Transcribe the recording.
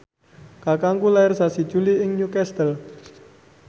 kakangku lair sasi Juli ing Newcastle